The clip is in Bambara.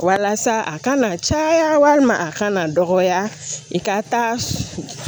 Walasa a kana caya walima a kana dɔgɔya i ka taa